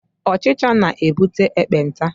Ọchịcha na-ebute ekpenta.